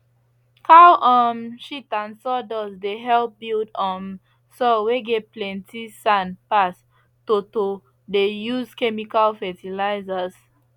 cow um shit and sawdust dey help build um soil whey get plenty sand pass to to dey use chemical fertilizers